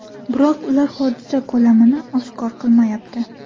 Biroq ular hodisa ko‘lamini oshkor qilmayapti.